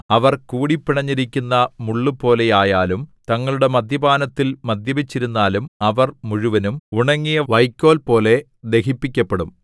അവർ കൂടിപ്പിണഞ്ഞിരിക്കുന്ന മുള്ളുപോലെ ആയാലും തങ്ങളുടെ മദ്യപാനത്തിൽ മദ്യപിച്ചിരുന്നാലും അവർ മുഴുവനും ഉണങ്ങിയ വൈക്കോൽ പോലെ ദഹിപ്പിക്കപ്പെടും